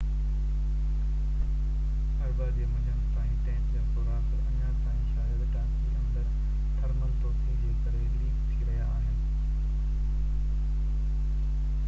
اربع جي منجهند تائين ٽينڪ جا سوراخ اڃا تائين شايد ٽانڪي اندر تھرمل توسيع جي ڪري ليڪ ٿي رهيا هئا